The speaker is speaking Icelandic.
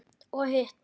Og hitt?